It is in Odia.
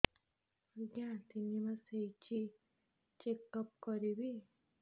ଆଜ୍ଞା ତିନି ମାସ ହେଇଛି ଚେକ ଅପ କରିବି